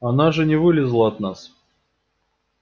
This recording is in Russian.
она же не вылезала от нас